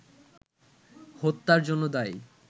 হত্যার জন্য দায়ী